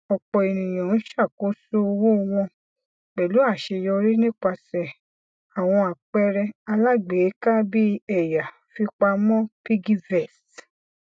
ọpọ ènìyàn ń ṣàkóso owó wọn pẹlú àṣeyọrí nípasẹ àwọn àpẹrẹ alágbèéká bíi ẹya fipamọ piggyvest